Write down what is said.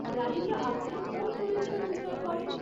রাধিকা আপ্তে কোন চরিত্রে অভিনয় করেন?